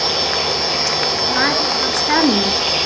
Þessi sem var þarna á staðnum?